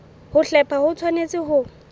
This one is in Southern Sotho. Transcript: ho hlepha ho tshwanetse ho